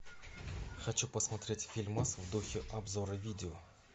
хочу посмотреть фильмас в духе обзора видео